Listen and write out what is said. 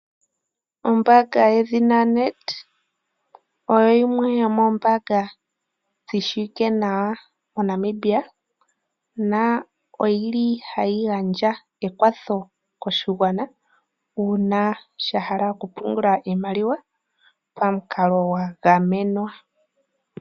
Ombaanga ye dhina NedBank, oyo yimwe yomoombaanga dhi shiwike nawa mo Namibia na oyili hayi gandja ekwatho koshigwana, uuna sha hala okupungula iimaliwa pamukalo gwa gamenwa.